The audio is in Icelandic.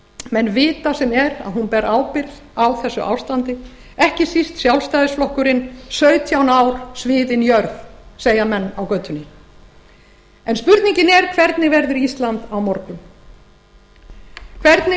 menn vita sem er að hún ber ábyrgð á þessu ástandi ekki síst sjálfstæðisflokkurinn sautján ár sviðin jörð segja menn á götunni en spurningin er hvernig